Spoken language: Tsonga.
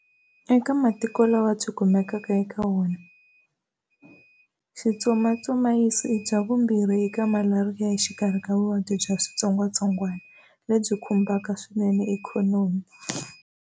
Eka matiko lawa byi kumekaka eka wona, Schistosomiyasisi i bya vumbirhi eka Malaria exikarhi ka vuvabyi bya switsongwatsongwana lebyi khumbaka swinene ikhonomi.